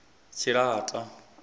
tshilata